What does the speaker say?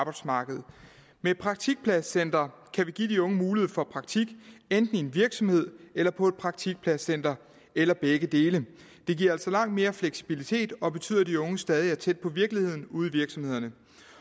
arbejdsmarkedet med praktikpladscentre kan vi give de unge mulighed for praktik enten i en virksomhed eller på et praktikpladscenter eller begge dele det giver altså langt mere fleksibilitet og betyder at de unge stadig er tæt på virkeligheden ude i virksomhederne